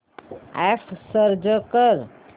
app search कर